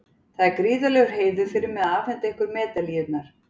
Það er gríðarlegur heiður fyrir mig að afhenda ykkur medalíurnar.